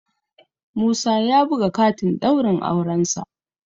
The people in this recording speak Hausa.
Musa ya buga katin ɗaurin aurensa